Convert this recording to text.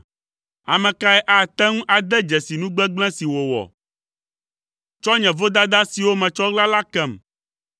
Ame kae ate ŋu ade dzesi nu gbegblẽ si wòwɔ? Tsɔ nye vodada siwo metsɔ ɣla la kem.